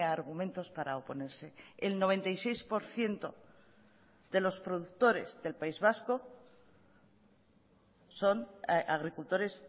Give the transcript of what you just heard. argumentos para oponerse el noventa y seis por ciento de los productores del país vasco son agricultores